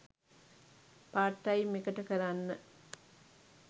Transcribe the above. part time එකට කරන්න